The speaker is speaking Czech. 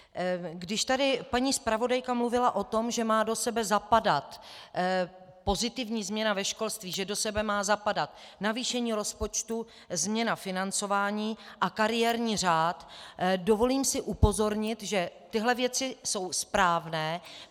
Když tady paní zpravodajka mluvila o tom, že má do sebe zapadat pozitivní změna ve školství, že do sebe má zapadat navýšení rozpočtu, změna financování a kariérní řád, dovolím si upozornit, že tyhle věci jsou správné.